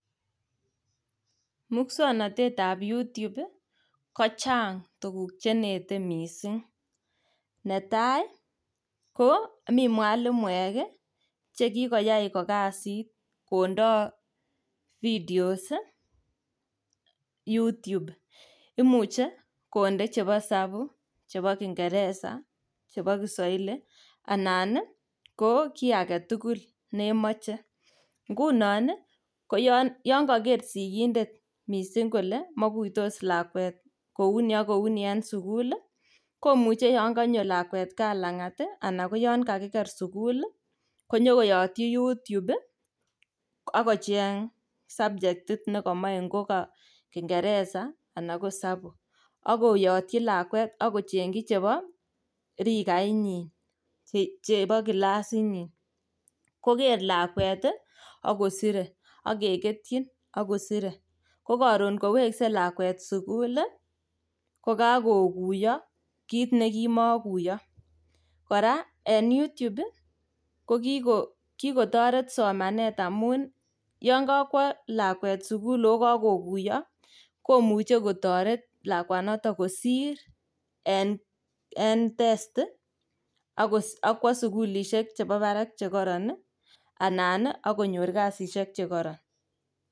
muswoknotet ab you-tube iih kochang tuguk chenete mising, netai iih ko mi mwalimuek iih chegikoyaai ko kasiit kondoo videos iih you-tube, imuche konde chebo hesabu, chebo kingeresa , chebo kiswahili anan ko kiagetugul nemoche, ngunon iih yoon kogeer sigindet mising kole moiguitos lakweet kouu ni ak kouuni en sugul iih, komuche yoon konyo lakweet kaa en langaat anan ko yaan kagigeer sugul iih konyogoyotyi you-tube iih ak kocheng sabchetit negomoe ko ka kingeresa anan ko hesabu, ak koyoti lakweek ak kochengyi chebo rigaait nyiin chebo rigaait nyiin chebo kilasiit nyiin, kogeer lakwet iih ak kosire ak kegetyin ak kosire ko karoon ngoweske lakweet sugul iih ko kagoguyo kiit negimokuyo, koraa en you-tube iih ko kigotoret somanet amuun iih yoon kokwo lakweet sugul ooh kagoguyo komuche kotoret lakwaanoton kosiir en testi ak kwoo sugulishek chebo baraak chegoroon iih anan iih ak konyoor kasisiek chegoron.